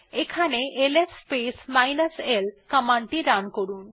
এখান ls minus l command টি run করুন